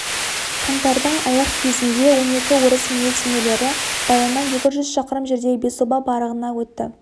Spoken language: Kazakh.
қаңтардың аяқ кезінде он екі орыс милиционерлері баяннан екі жүз шақырым жердегі бесоба барағына өтті